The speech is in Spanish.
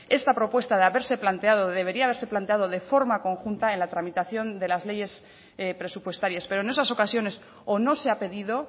esta propuesta de haberse planteada debería haberse planteado de forma conjunta en la tramitación de las leyes presupuestarias pero en esas ocasiones o no se ha pedido